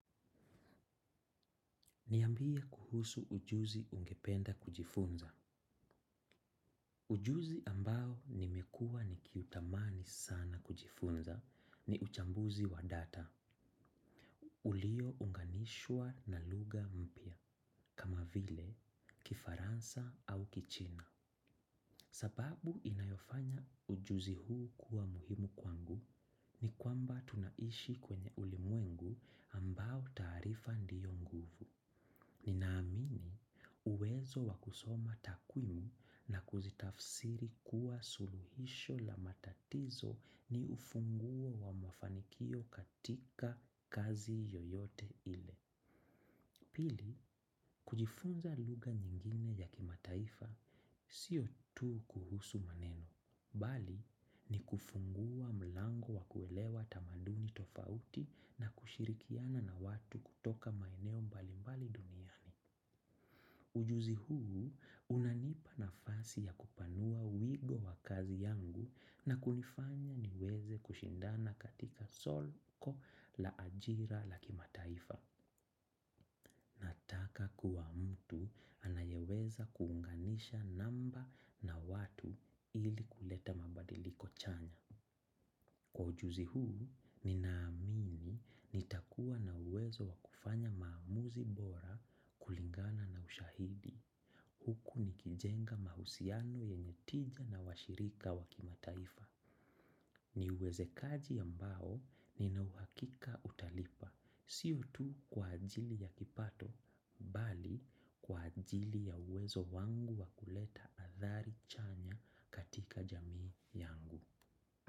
Niambia kuhusu ujuzi ungependa kujifunza. Ujuzi ambao nimekua nikiutamani sana kujifunza ni uchambuzi wa data. Ulio unganishwa na luga mpya, kama vile kifaransa au kichina. Sababu inayofanya ujuzi huu kuwa muhimu kwangu ni kwamba tunaishi kwenye ulimwengu ambao taarifa ndiyo nguvu. Ninaamini uwezo wakusoma takwimu na kuzitafsiri kuwa suluhisho la matatizo ni ufunguo wa mafanikio katika kazi yoyote ile. Pili, kujifunza luga nyingine ya kimataifa siyo tu kuhusu maneno. Bali, ni kufungua mlango wa kuelewa tamanduni tofauti na kushirikiana na watu kutoka maeneo mbalimbali duniani. Ujuzi huu, unanipa nafasi ya kupanua wigo wa kazi yangu na kunifanya niweze kushindana katika solko la ajira la kimataifa. Taka kuwa mtu anayeweza kuunganisha namba na watu ili kuleta mabadiliko chanya. Kwa ujuzi huu, ninaamini nitakuwa na uwezo wa kufanya maamuzi bora kulingana na ushahidi. Huku ni kijenga mahusiano yenye tija na washirika wakimataifa. Ni uwezekaji ambao ninauhakika utalipa. Sio tu kwa ajili ya kipato, bali kwa ajili ya uwezo wangu wakuleta athari chanya katika jamii yangu.